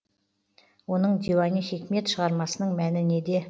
оның диуани хикмет шығармасының мәні неде